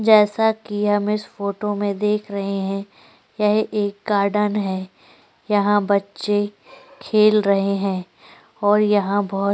जैसा की हम इस फोटो में देख रहे है यह एक गार्डन है यहाँ बच्चे खेल रहे है और यहाँ बहोत --